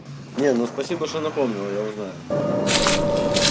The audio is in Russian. не ну спасибо что напомнила я узнаю